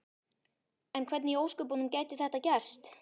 En hvernig í ósköpunum gæti þetta gerst?